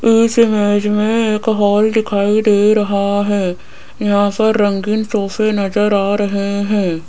इस इमेज में एक हॉल दिखाई दे रहा है यहां पर रंगीन सोफे नज़र आ रहे हैं।